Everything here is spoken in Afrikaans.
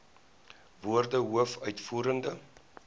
woorde hoof uitvoerende